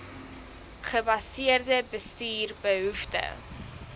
gebaseerde bestuur behoefte